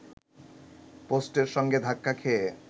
পোস্টের সঙ্গে ধাক্কা খেয়ে